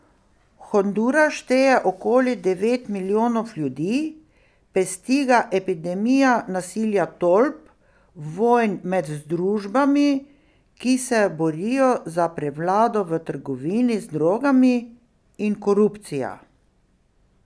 Honduras šteje okoli devet milijonov ljudi, pesti ga epidemija nasilja tolp, vojn med združbami, ki se borijo za prevlado v trgovini z drogami in korupcija.